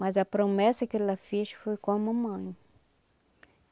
Mas a promessa que ela fez foi com a mamãe.